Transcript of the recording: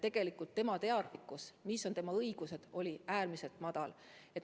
Aga selle naise teadlikkus sellest, mis on tema õigused, oli äärmiselt madal.